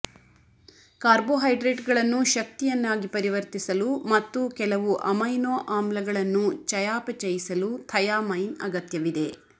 ಕಾರ್ಬೋಹೈಡ್ರೇಟ್ಗಳನ್ನು ಶಕ್ತಿಯನ್ನಾಗಿ ಪರಿವರ್ತಿಸಲು ಮತ್ತು ಕೆಲವು ಅಮೈನೋ ಆಮ್ಲಗಳನ್ನು ಚಯಾಪಚಯಿಸಲು ಥೈಯಾಮೈನ್ ಅಗತ್ಯವಿದೆ